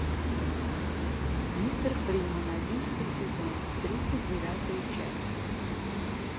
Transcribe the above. мистер фримен одиннадцатый сезон тридцать девятая часть